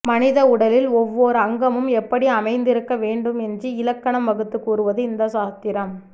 மனித உடலில் ஒவ்வோர் அங்கமும் எப்படி அமைந்திருக்க வேண்டும் என்று இலக்கணம் வகுத்துக் கூறுவது இந்த சாத்திரம்